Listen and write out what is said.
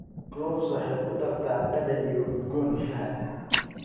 Cloves waxay ku dartaa dhadhan iyo udgoon shaaha